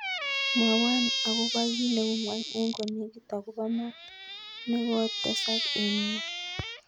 Mwawan agobo kit neu ng'wany en konegit agobo mat negotesak en ng'wwony